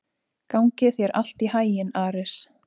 Gangi þér allt í haginn, Ares.